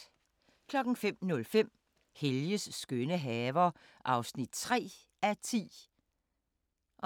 05:05: Helges skønne haver (3:10) 05:05: